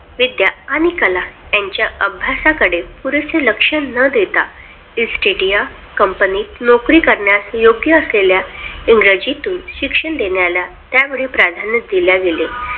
विद्या आणि कला यांच्या अभ्यासाकडे पुरेसे लक्ष न देता East India Comapny नोकरी करण्यात योग्य असलेल्या इंग्रजीतून शिक्षण देण्याला त्यावेळी प्राधान्य दिले.